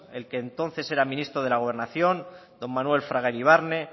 el que entonces era ministro de la gobernación don manuel fraga iribarne